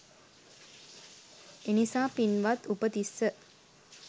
එනිසා පින්වත් උපතිස්ස